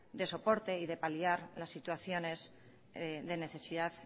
de soporte y de paliar las situaciones de necesidad